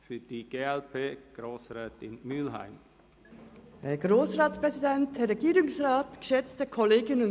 Für die glp-Fraktion spricht Grossrätin Mühlheim.